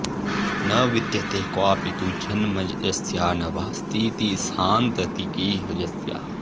न विद्यते क्वापि तु जन्म यस्या न वा स्थितिस्सान्ततिकीह यस्याः